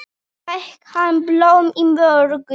Fékk hann blóm í morgun?